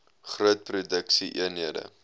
groot produksie eenhede